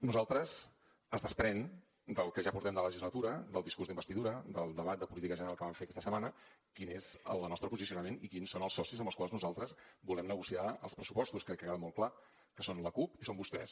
nosaltres es desprèn del que ja portem de legislatura del discurs d’investidura del debat de política general que vam fer aquesta setmana quin és el nostre posicionament i quins són els socis amb els quals nosaltres volem negociar els pressupostos crec que ha quedat molt clar que són la cup i són vostès